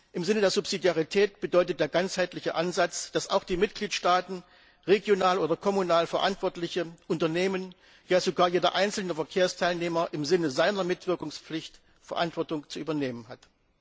Im Sinne der Subsidiarität bedeutet der ganzheitliche Ansatz, dass auch die Mitgliedstaaten regional oder kommunal verantwortliche Unternehmen, ja sogar jeder einzelne Verkehrsteilnehmer im Sinne seiner Mitwirkungspflicht Verantwortung zu übernehmen hat.